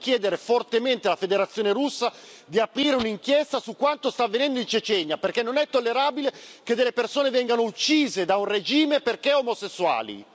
Dobbiamo chiedere fortemente alla Federazione Russa di aprire un'inchiesta su quanto sta avvenendo in Cecenia, perché non è tollerabile che delle persone vengano uccise da un regime perché omosessuali.